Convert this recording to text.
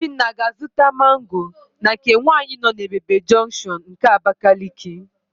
Obinna ga-azụta mango na nke nwaanyị nọ n'Ebebe junction nke Abakaliki.